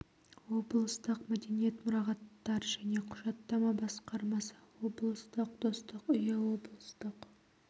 облыстық мәдениет мұрағаттар және құжаттама басқармасы облыстық достық үйі облыстық